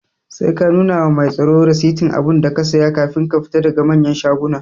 Sai ka nuna wa mai tsaro rasitin abunda ka siya kafin ka fita daga manyan shaguna